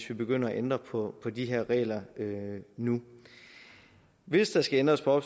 vi begynder at ændre på de her regler nu hvis der skal ændres på